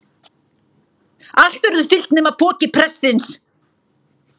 Allt verður fyllt nema pokinn prestsins.